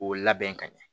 K'o labɛn ka ɲɛ